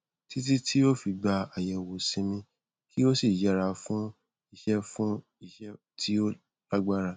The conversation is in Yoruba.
títí tí o fi gba àyẹwò sinmi kí o sì yẹra fún iṣẹ fún iṣẹ tí ó lágbára